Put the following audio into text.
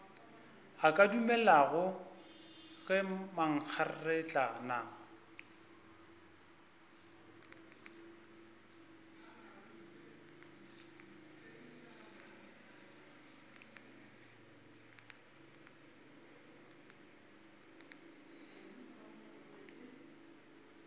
a ka dumelago ge mankgeretlana